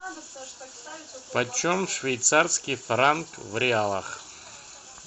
почем швейцарский франк в реалах